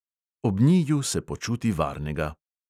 Ob njiju se počuti varnega.